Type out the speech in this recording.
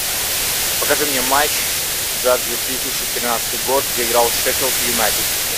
покажи мне матч за две тысячи тринадцатый год где играл шеффилд юнайтед